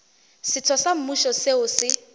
setho sa mmušo seo se